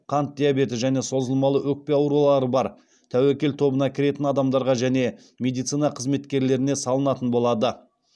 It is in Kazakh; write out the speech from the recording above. қант диабеті және созылмалы өкпе аурулары бар тәуекел тобына кіретін адамдарға және медицина қызметкерлеріне салынатын болады